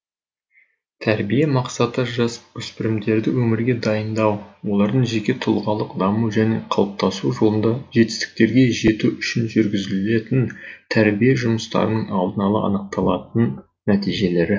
тәрбие мақсаты жасөспірімдерді өмірге дайындау олардың жеке тұлғалық даму және қалыптасу жолында жетістіктерге жету үшін жүргізілетін тәрбие жұмыстарының алдын ала анықталатын нәтижелері